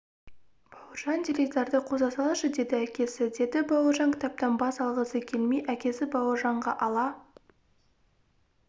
бауыржан теледидарды қоса салшы деді әкесі деді бауыржан кітаптан бас алғысы келмей әкесі бауыржанға ала